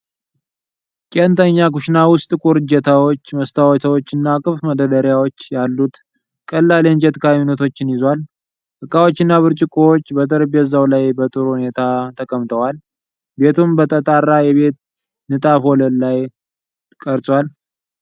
ቄንጠኛ ኩሽና ዉስጥ ጥቁር እጀታዎች፣ መስታወቶች እና ክፍት መደርደሪያዎች ያሉት ቀላል የእንጨት ካቢኔቶችን ይዟል። እቃዎች እና ብርጭቆዎች በጠረጴዛው ላይ በጥሩ ሁኔታ ተቀምጠዋል። ቤቱም በተጣራ የቤጅ ንጣፍ ወለል ላይተቀርጿል።